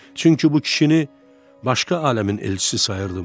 Çünki bu kişini başqa aləmin elçisi sayırdım.